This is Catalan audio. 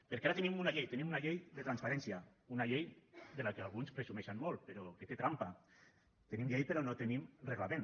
perquè ara tenim una llei tenim una llei de transparència una llei de la qual alguns presumeixen molt però que té trampa tenim llei però no tenim reglament